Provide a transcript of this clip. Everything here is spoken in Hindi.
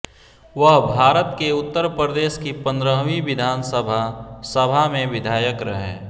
वह भारत के उत्तर प्रदेश की पंद्रहवी विधानसभा सभा में विधायक रहे